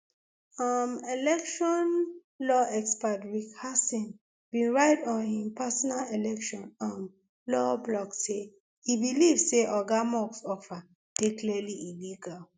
um election law expert rick hasen bin write on im personal election um law blogsay e believe say oga musk offer dey clearly illegal